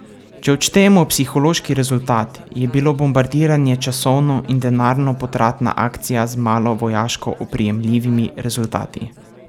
Če odštejemo psihološki rezultat, je bilo bombardiranje časovno in denarno potratna akcija z malo vojaško oprijemljivimi rezultati.